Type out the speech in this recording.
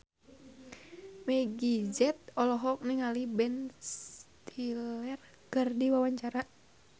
Meggie Z olohok ningali Ben Stiller keur diwawancara